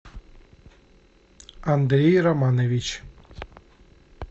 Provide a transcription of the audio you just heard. андрей романович